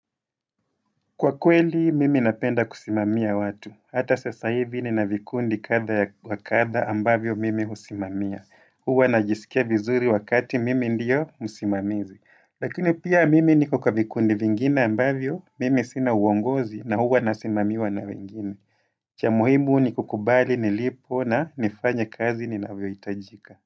Kwa kweli, mimi napenda kusimamia watu. Hata sasa hivi nina vikundi kadha ya wa kadha ambavyo mimi husimamia. Huwa najisikia vizuri wakati mimi ndio msimamizi. Lakini pia mimi niko kwa vikundi vingine ambavyo mimi sina uongozi na huwa nasimamiwa na wengine. Cha muhimu ni kukubali nilipo na nifanye kazi ninavyohitajika.